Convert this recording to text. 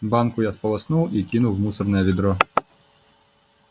банку я сполоснул и кинул в мусорное ведро